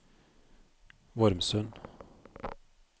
Vormsund